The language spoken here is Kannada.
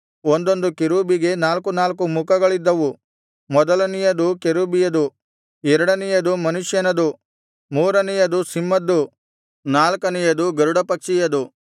ಒಂದೊಂದು ಕೆರೂಬಿಗೆ ನಾಲ್ಕು ನಾಲ್ಕು ಮುಖಗಳಿದ್ದವು ಮೊದಲನೆಯದು ಕೆರೂಬಿಯದು ಎರಡನೆಯದು ಮನುಷ್ಯನದು ಮೂರನೆಯದು ಸಿಂಹದ್ದು ನಾಲ್ಕನೆಯದು ಗರುಡಪಕ್ಷಿಯದು